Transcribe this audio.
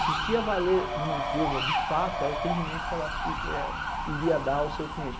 Que o que ia valer numa empresa, de fato, é o atendimento que ela ih eh, iria dar ao seu cliente.